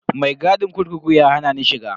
Mai gadin kurkuku ya hana ni shiga.